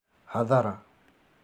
Hathara